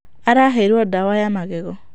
Araheirwo ndawa ya magego.